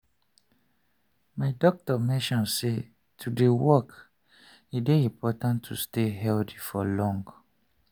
my doctor mention say to dey walk e dey important to stay healthy for long.